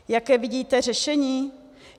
Jaké vidíte řešení?